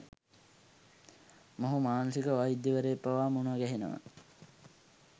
මොහු මානසික වෛද්‍යවරයෙක් පවා මුණ ගැහෙනවා.